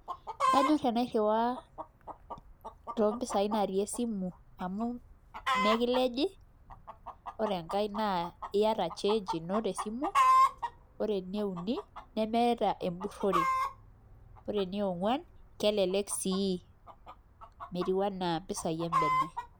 Kanyorr tenairriwaa toompisaai naatii esimu amu mekilej ore enkae naa iata change ino tesimu ore eneiuni nemeeta empurrore ore eningwan kelelek sii metiu enaa mpisaai embene.